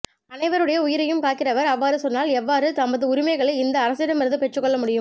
அனைவருடைய உயிரையும் காக்கிறவர் அவ்வாறு சொன்னால் எவ்வாறு நமது உரிமைகளை இந்த அரசிடமிருந்து பெற்றுக்கொள்ள முடியும்